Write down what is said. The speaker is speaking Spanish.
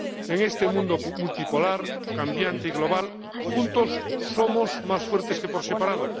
En este mundo multipolar, cambiante y global, juntos somos más fuertes que por separado.